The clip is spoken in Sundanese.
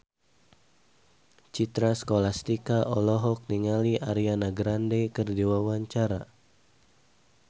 Citra Scholastika olohok ningali Ariana Grande keur diwawancara